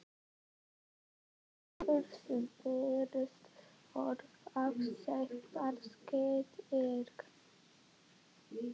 Það var Ólafur sem fyrst orðaði sveitarstyrk.